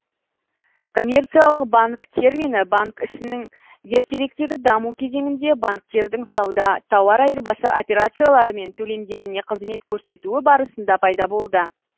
коммерциялық банк термині банк ісінің ертеректегі даму кезеңінде банктердің сауда тауар айырбасы операциялары мен төлемдеріне қызмет көрсетуі барысында пайда болды